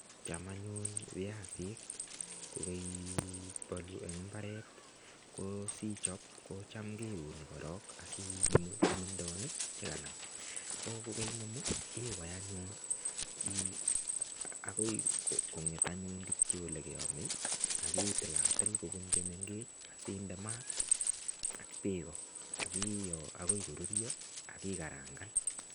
Cham anyun biasik ko koibolu en mbaret ko sichob ko Cham keuni korok asi inemu kimindonik Che kanam ko kokoinemu iwai anyun ak konget anyun Kityo Ole keaome ak itilatil kobun Che mengech asi inde mat ak bek ak iyoo ak koruryo ak ii karangan anyun